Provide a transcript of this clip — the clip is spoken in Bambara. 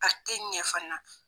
A ti ɲɛ fana.